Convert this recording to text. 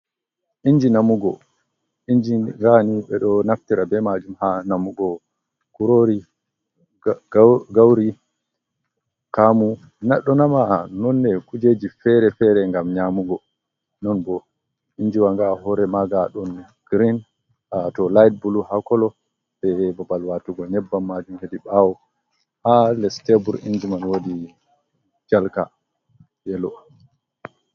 Inji namugo inji gani be do naftira be majum ha namugo kurori ,gauri kamu nadonama nonne kujeji fere-fere, gam nyamugo non bo injiwanga hore maga don green a to light bulu ha kolo be babbal watugo nyebban majum hedi bawo ha lestebur injiman wodi calka yelo’.